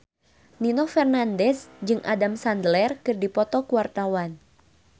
Nino Fernandez jeung Adam Sandler keur dipoto ku wartawan